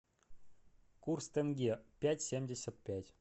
курс тенге пять семьдесят пять